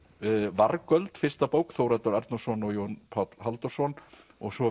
vargöld fyrsta bók Þórhallur Arnórsson og Jón Páll Halldórsson og svo